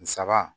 N saba